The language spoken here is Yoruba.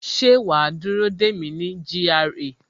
Ṣé wa á dúró dè mí ní GRA